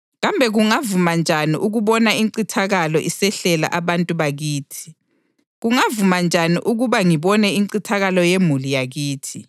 Kambe kungavuma njani ukubona incithakalo isehlela abantu bakithi? Kungavuma njani ukuba ngibone incithakalo yemuli yakithi?”